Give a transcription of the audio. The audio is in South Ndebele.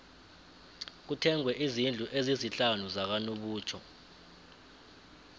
kuthengwe izndlu ezisihlanu zakanobutjho